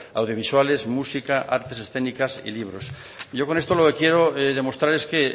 a audiovisuales música artes escénicas y libros yo con esto lo que quiero es demostrar es que